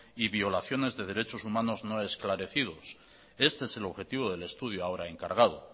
y violaciones de derechos humanos no esclarecidos este es el objetivo del estudio ahora encargado